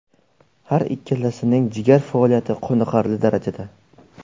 Har ikkilasining jigar faoliyati qoniqarli darajada!